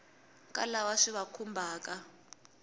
ka lava swi va khumbhaka